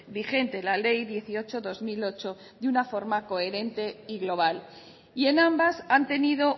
vigente la ley dieciocho barra dos mil ocho de una forma coherente y global y en ambas han tenido